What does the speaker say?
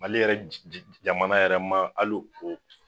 Mali yɛrɛ jamana yɛrɛ ma ali o